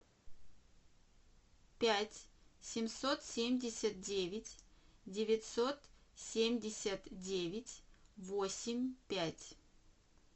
пять семьсот семьдесят девять девятьсот семьдесят девять восемь пять